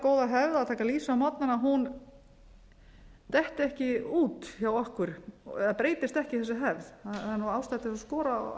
góða hefð að taka lýsi á morgnana detti ekki út hjá okkur eða breytist ekki við hefð það er ástæða til að skora á